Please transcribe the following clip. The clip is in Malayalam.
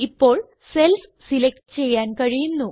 ഇപ്പോൾ സെൽസ് സിലക്റ്റ് ചെയ്യാൻ കഴിയുന്നു